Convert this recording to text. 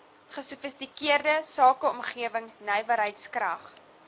gesofistikeerde sakeomgewing nywerheidskrag